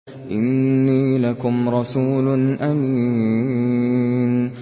إِنِّي لَكُمْ رَسُولٌ أَمِينٌ